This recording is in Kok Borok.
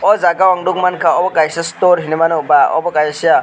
oh jaga o ang nuk mankha obo kaisa store hinui mano ba abo kaisa.